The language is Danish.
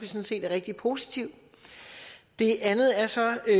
set er rigtig positivt det andet er så